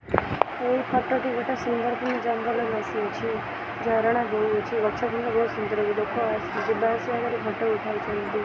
ଏହି ଫଟୋ ଟି ଗୋଟେ ସୁନ୍ଦରକିନି ଜଙ୍ଗଲ ବସିଅଛି ଝରଣା ବୋହୁଅଛି ଗଛ ବି ବହୁତ ସୁନ୍ଦର ଲୋକ ଅ ଯିବା ଆସିବା କରି ଫଟୋ ଉଠାଉଛନ୍ତି।